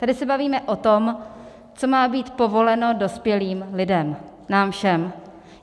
Tady se bavíme o tom, co má být povoleno dospělým lidem, nám všem.